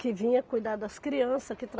que vinha cuidar das crianças, que